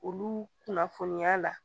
Olu kunnafoniya la